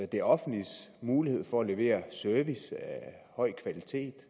det offentliges mulighed for at levere service af høj kvalitet